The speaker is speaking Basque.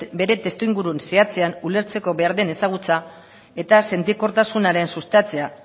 bere testuinguru zehatzean ulertzeko behar den ezagutza eta sentikortasunaren sustatzea